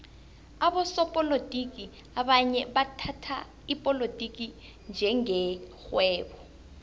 abosopolotiki abanye bathhatha ipolotiki njenge rhwebo